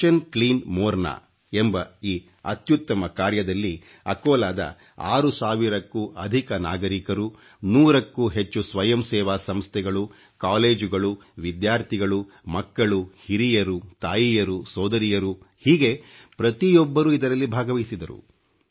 ಒissioಟಿ ಅಟeಚಿಟಿ ಒoಡಿಟಿಚಿ ಎಂಬ ಈ ಅತ್ಯುತ್ತಮ ಕಾರ್ಯದಲ್ಲಿ ಅಕೋಲಾದ 6 ಸಾವಿರಕ್ಕೂ ಅಧಿಕ ನಾಗರೀಕರು ನೂರಕ್ಕೂ ಹೆಚ್ಚು ಸ್ವಯಂ ಸೇವಾ ಸಂಸ್ಥೆಗಳು ಕಾಲೇಜುಗಳು ವಿದ್ಯಾರ್ಥಿಗಳು ಮಕ್ಕಳು ಹಿರಿಯರು ತಾಯಿಯರು ಸೋದರಿಯರು ಹೀಗೆ ಪ್ರತಿಯೊಬ್ಬರೂ ಇದರಲ್ಲಿ ಭಾಗವಹಿಸಿದರು